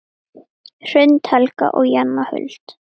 Hrund, Helga og Jenna Huld.